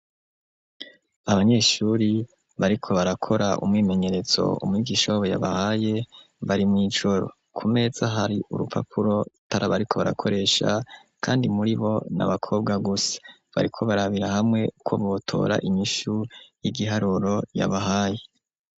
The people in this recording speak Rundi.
Abanyeshuri bariko barakora umwimenyerezo umigwisha wabo yabahaye bari mw'ijoro ku mesa hari urupapuro taribariko barakoresha kandi muri bo n'abakobwa gusa bariko barabira hamwe ko botora imyishu y'igiharuro yabahaye.